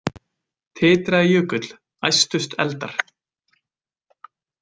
Titraði jökull, æstust eldar,